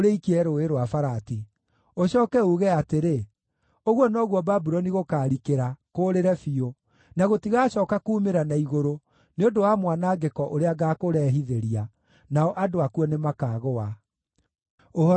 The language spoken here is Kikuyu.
Ũcooke uuge atĩrĩ, ‘Ũguo noguo Babuloni gũkaarikĩra kũũrĩre biũ, na gũtigacooka kuumĩra na igũrũ, nĩ ũndũ wa mwanangĩko ũrĩa ngaakũrehithĩria. Nao andũ akuo nĩmakaagũa.’ ” Ũhoro wa Jeremia ũkinyĩte hau.